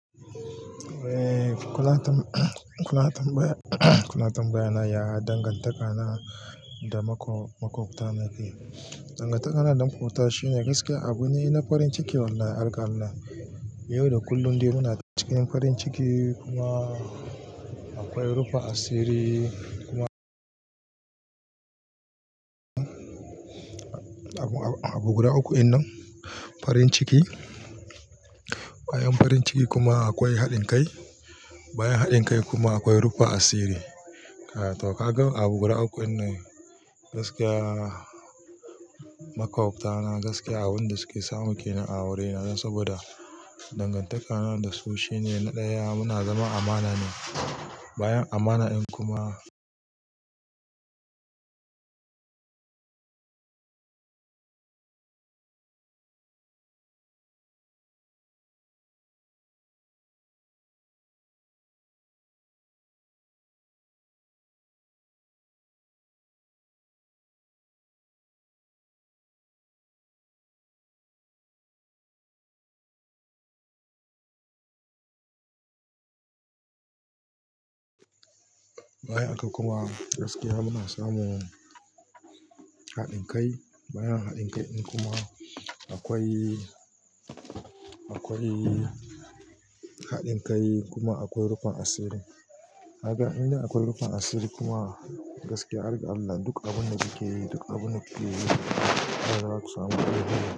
Eh, kuna tambaya, kuna tambaya na yaya dangantaka na da maƙwabta na yake. Dangantaka na da maƙwabta shine gaskiya abu ne na farin ciki wallahi harga Allah. Yau da kullum dai muna cikin farin ciki kuma akwai rufin asiri kuma Abu guda uku in nan, farin ciki, bayan farin ciki kuma akwai haɗin kai, bayan haɗin kai kuma akwai rufa asiri. To ka ga abu guda uku in nan, gaskiya maƙwabta na gaskiya abun da suke samu ke nan a wurina don saboda dangantaka na da su shine na ɗaya muna zaman amana ne. Bayan amana in kuma Bayan haka kuma gaskiya muna samun haɗin kai. Bayan haɗin kai ɗin kuma akwai, akwai haɗin kai kuma akwai rufin asiri. Kaga in dai akwai rufin asiri kuma gaskiya har ga Allah duk abun da kuke yi, duk abun da kuke yi za kaga zaku samu.